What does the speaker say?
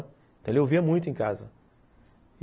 Então ele ouvia muito em casa.